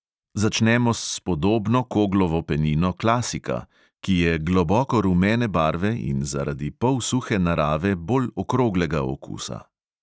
Začnemo s spodobno koglovo penino klasika, ki je globoko rumene barve in zaradi polsuhe narave bolj okroglega okusa.